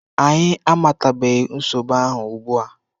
Anyị amatabeghị nsogbu ahụ ugbua.